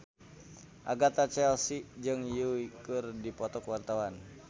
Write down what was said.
Agatha Chelsea jeung Yui keur dipoto ku wartawan